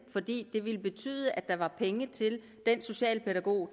det ville betyde at der var penge til den socialpædagog